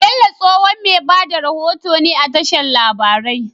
Bello tsohon me bada rahoto ne a tashar labarai